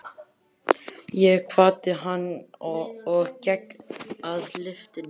Ég kvaddi hann og gekk að lyftunni.